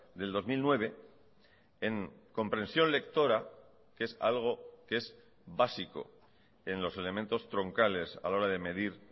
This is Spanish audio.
del dos mil nueve en comprensión lectora que es algo que es básico en los elementos troncales a la hora de medir